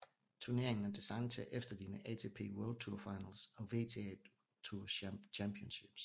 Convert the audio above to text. Turneringen er designet til at efterligne ATP World Tour Finals og WTA Tour Championships